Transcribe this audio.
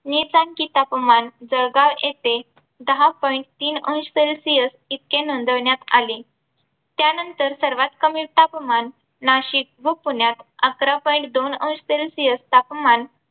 नीचांकी तापमान जळगाव येथे दहा point तीन अंश celsius इतके नोंदविण्यात आले. त्यानंतर सर्वात कमी तापमान नाशिक व पुण्यात आकरा point दोन अंश celsius तापमान